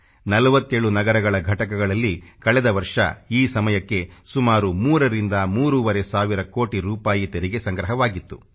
47 ನಗರಗಳ ಘಟಕಗಳಲ್ಲಿ ಕಳೆದ ವರ್ಷ ಈ ಸಮಯಕ್ಕೆ ಸುಮಾರು 3 ರಿಂದ ಮೂರುವರೆ ಸಾವಿರ ಕೋಟಿ ರೂಪಾಯಿ ತೆರಿಗೆ ಸಂಗ್ರಹವಾಗಿತ್ತು